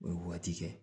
O ye waati kɛ